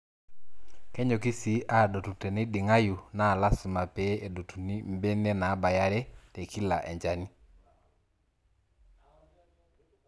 Kenyoki sii aadotu teneiding'ayu naa lasima pee edotuni mbene naabaya are tekila enchani.